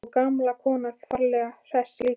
Og gamla konan ferlega hress líka.